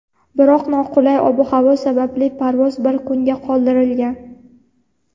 biroq noqulay ob-havo sababli parvoz bir kunga qoldirilgan.